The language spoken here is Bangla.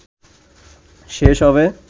শেষ হবে